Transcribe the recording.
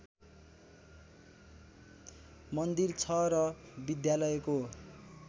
मन्दिर छ र विद्यालयको